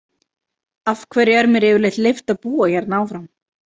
Af hverju er mér yfirleitt leyft að búa hérna áfram?